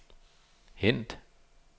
hent